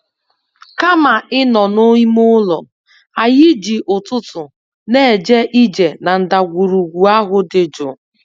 Kama ịnọ n'ime ụlọ, anyị ji ụtụtụ na-eje ije na ndagwurugwu ahụ dị jụụ.